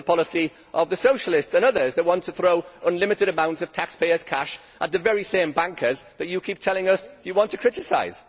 This is the policy of the Socialists and others that want to throw unlimited amounts of taxpayers' cash at the very same bankers that you keep telling us you want to criticise.